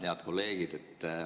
Head kolleegid!